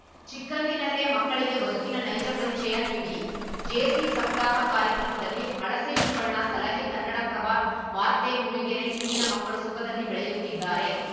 ಚಿಕ್ಕಂದಿನಲ್ಲೇ ಮಕ್ಕಳಿಗೆ ಬದುಕಿನ ನೈಜ ಪರಿಚಯ ನೀಡಿ ಜೇಸಿ ಸಪ್ತಾಹ ಕಾರ್ಯಕ್ರಮದಲ್ಲಿ ಹಳಸೆ ಶಿವಣ್ಣ ಸಲಹೆ ಕನ್ನಡಪ್ರಭ ವಾರ್ತೆ ಮೂಡಿಗೆರೆ ಇಂದಿನ ಮಕ್ಕಳು ಸುಖದಲ್ಲಿ ಬೆಳೆಯುತ್ತಿದ್ದಾರೆ